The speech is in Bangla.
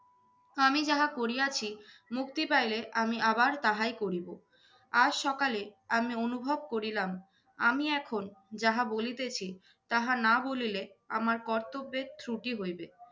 আমি যাহা করিয়াছি মুক্তি পাইলে আমি আবার তাহাই করিব। আজ সকালে আমি অনুভব করিলাম আমি এখন যাহা বলিতেছি তাহা না বলিলে আমার কর্তব্যের ত্রুটি হইবে।